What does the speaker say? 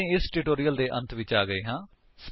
ਹੁਣ ਅਸੀ ਇਸ ਟਿਊਟੋਰਿਅਲ ਦੇ ਅੰਤ ਵਿੱਚ ਆ ਚੁੱਕੇ ਹਾਂ